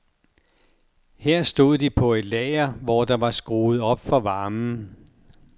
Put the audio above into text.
Her stod de på et lager, hvor der var skruet op for varmen.